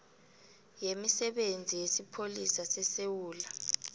yemisebenzi yesipholisa sesewula